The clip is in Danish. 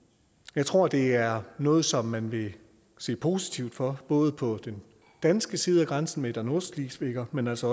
jeg tror det er noget som man vil se positivt på både på den danske side af grænsen med der nordschleswiger men også